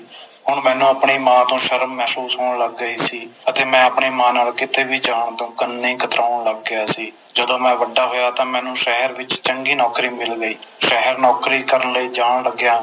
ਹੁਣ ਮੈਨੂੰ ਆਪਣੀ ਮਾਂ ਤੋਂ ਸ਼ਰਮ ਮਹਿਸੂਸ ਹੋਣ ਲੱਗ ਗਈ ਸੀ ਤੇ ਮੈਂ ਆਪਣੀ ਮਾਂ ਨਾਲੋਂ ਕਿੱਤੇ ਵੀ ਜਾਣ ਤੇ ਉਨ੍ਹੀ ਹੀ ਕਤਰਾਉਣ ਲੱਗ ਗਿਆ ਸੀ ਜਦੋ ਮੈਂ ਵੱਡਾ ਹੋਇਆ ਤਾ ਮੈਨੂੰ ਸ਼ਹਿਰ ਵਿਚ ਚੰਗੀ ਨੌਕਰੀ ਮਿਲ ਗਈ ਸ਼ਹਿਰ ਨੌਕਰੀ ਕਰਨ ਲਈ ਜਾਣ ਲੱਗਿਆ